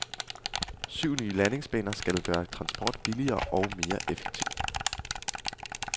Syv nye landingsbaner skal gøre transport billigere og mere effektiv.